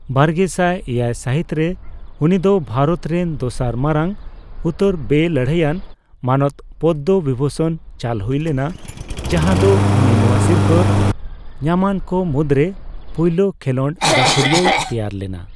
ᱵᱟᱨᱜᱮᱥᱟᱭ ᱮᱭᱟᱭ ᱥᱟᱹᱦᱤᱛᱨᱮ ᱩᱱᱤᱫᱚ ᱵᱷᱟᱨᱚᱛ ᱨᱮᱱ ᱫᱚᱥᱟᱨ ᱢᱟᱲᱟᱝ ᱩᱛᱟᱹᱨ ᱵᱮᱼᱞᱟᱹᱲᱦᱟᱹᱭᱟᱱ ᱢᱟᱱᱚᱛ ᱯᱚᱫᱽᱫᱚ ᱵᱤᱵᱷᱩᱥᱚᱱ ᱪᱟᱞ ᱦᱩᱭ ᱞᱮᱱᱟ ᱡᱟᱦᱟᱫᱚ ᱩᱱᱤ ᱱᱚᱣᱟ ᱥᱤᱨᱯᱟᱹ ᱧᱟᱢᱟᱱᱠᱚ ᱢᱩᱫᱨᱮ ᱯᱳᱭᱞᱳ ᱠᱷᱮᱞᱚᱸᱰ ᱜᱟᱹᱠᱷᱲᱤᱭᱟᱹᱭ ᱛᱮᱭᱟᱨ ᱞᱮᱱᱟ ᱾